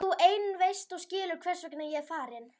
Þú ein veist og skilur hvers vegna ég er farin.